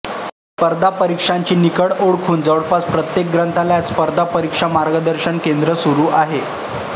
स्पर्धा परीक्षांची निकड ओळखून जवळपास प्रत्येक ग्रंथालयात स्पर्धा परीक्षा मार्गदर्शन केंद्र सुरू आहे